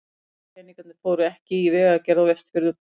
Nei, peningarnir fóru ekki í vegagerð á Vestfjörðum.